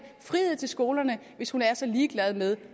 frihed til skolerne hvis hun er så ligeglad med